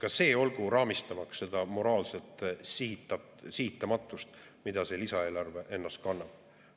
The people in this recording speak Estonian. Ka see olgu raamistamaks seda moraalset sihitamatust, mida see lisaeelarve endas kannab.